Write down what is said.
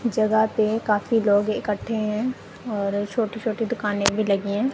जगह पे काफी लोग इकट्ठे हैं और छोटी छोटी दुकानें भी लगी हैं।